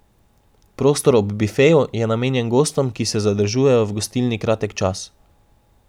Prostor ob bifeju je namenjen gostom, ki se zadržujejo v gostilni kratek čas.